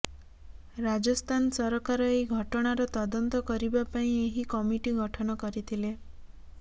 ରାଜସ୍ଥାନ ସରକାର ଏହି ଘଟଣାର ତଦନ୍ତ କରିବା ପାଇଁ ଏହି କମିଟି ଗଠନ କରିଥିଲେ